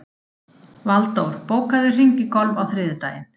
Valdór, bókaðu hring í golf á þriðjudaginn.